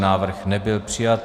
Návrh nebyl přijat.